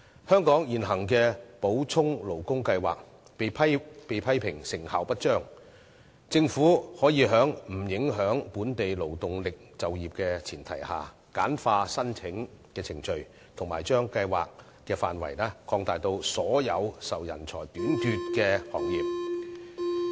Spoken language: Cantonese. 香港現行的補充勞工計劃被批評成效不彰，政府可以在不影響本地勞動力就業的前提下，簡化申請程序，把計劃範圍擴大至涵蓋所有受人才短缺影響的行業。